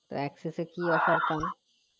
তো Axis এ কি আছে